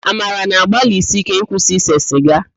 Amara na-agbalisi íké ịkwụsị ise sịga